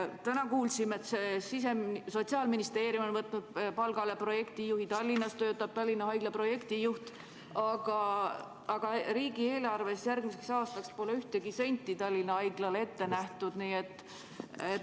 Täna kuulsime, et Sotsiaalministeerium on võtnud palgale projektijuhi, Tallinnas töötab Tallinna Haigla projektijuht, aga riigieelarves pole järgmiseks aastaks ühtegi senti Tallinna Haiglale ette nähtud.